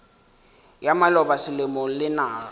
ya maloba selemo le naga